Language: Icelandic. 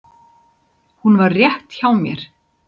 Hún var rétt hjá mér.